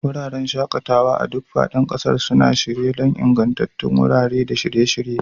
Wuraren shaƙatawa a duk faɗin ƙasar suna shirye don ingantattun wurare da shirye-shirye.